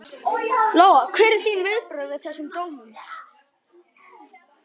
Lóa: Hver eru þín viðbrögð við þessum dómum?